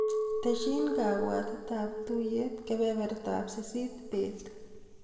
Tesyi kabwatetap tuiyet kebebertap sisit bet.